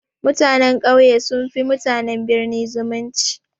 Mutanen ƙauye sun fi mutanen birni zumunci.